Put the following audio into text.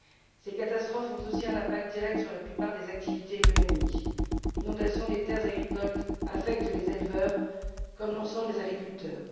Ces catastrophes ont aussi un impact direct sur la plupart des activités économiques. L'inondation des terres agricoles affecte aussi bien les éleveurs que l'ensemble des agriculteurs.